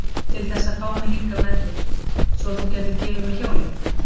Til þess að fá mig hingað með þér. svo að þú gætir gefið mér hjólið?